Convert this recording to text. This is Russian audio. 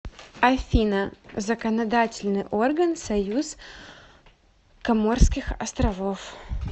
афина законодательный орган союз коморских островов